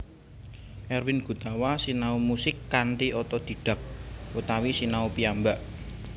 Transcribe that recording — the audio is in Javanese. Erwin Gutawa sinau musik kanthi otodhidhak utawi sinau piyambak